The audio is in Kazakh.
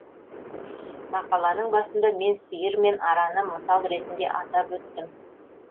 мақаланың басында мен сиыр мен араны мысал ретінде атап өттім